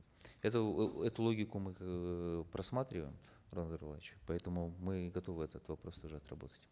эту эээ эту логику мы эээ просматриваем нурлан зайроллаевич поэтому мы готовы этот вопрос тоже отработать